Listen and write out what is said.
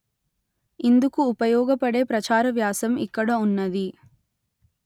ఇందుకు ఉపయోగపడే ప్రచార వ్యాసం ఇక్కడ ఉన్నది